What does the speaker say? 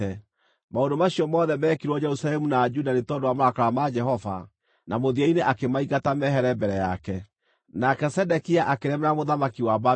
Maũndũ macio mothe meekirwo Jerusalemu na Juda nĩ tondũ wa marakara ma Jehova, na mũthia-inĩ akĩmaingata mehere mbere yake. Kũgũa kwa Jerusalemu Nake Zedekia akĩremera mũthamaki wa Babuloni.